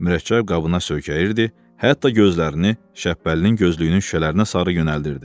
Mürəkkəb qabına söykənirdi, hətta gözlərini Şəpbəlinin gözlüyünün şüşələrinə sarı yönəldirdi.